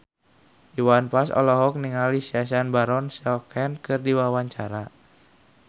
Iwan Fals olohok ningali Sacha Baron Cohen keur diwawancara